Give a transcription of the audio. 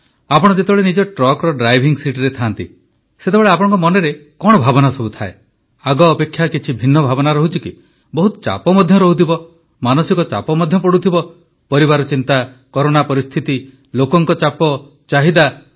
ଆପଣ ଯେତେବେଳେ ନିଜ ଟ୍ରକ୍ ଡ୍ରାଇଭିଂ ସିଟରେ ଥାଆନ୍ତି ସେତେବେଳେ ଆପଣଙ୍କ ମନରେ କଣ ଭାବନା ଥାଏ ଆଗ ଅପେକ୍ଷା କିଛି ଭିନ୍ନ ଭାବନା ରହୁଛି କି ବହୁତ ଚାପ ମଧ୍ୟ ରହୁଥିବ ମାନସିକ ଚାପ ମଧ୍ୟ ପଡ଼ୁଥିବ ପରିବାର ଚିନ୍ତା କରୋନା ପରିସ୍ଥିତି ଲୋକଙ୍କ ଚାପ ଚାହିଦା